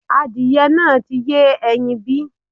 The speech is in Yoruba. Adìyẹ náà ti yé ẹyin bí?